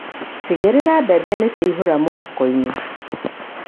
Tigĩrĩra mbembe nĩ ciaihũra mũhuko-inĩ.